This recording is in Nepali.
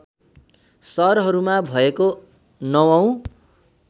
सहरहरूमा भएको ९ औँ